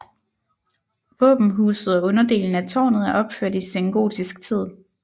Våbenhuset og underdelen af tårnet er opført i sengotisk tid